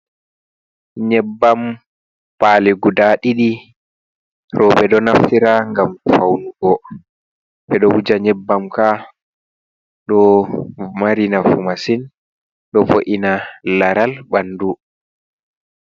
Nyebbam pali guda ɗiɗi, roɓe ɗo naftira ngam faunugo, ɓe ɗo wuja nyebbamka ɗo marinafu masin ɗo vo’ina laral ɓandu.